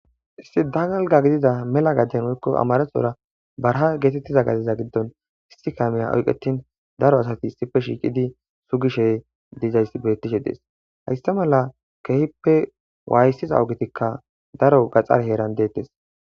isti danalga gidida mela gadden woykko amaresora barha geetettiza gaziza giddon istikameya oyqetin daro asati issipe shiiqidi sugishey dizayssi beettishe dees haysta mala keehippe waayssiza ogetikka daro gaxar heeran deettes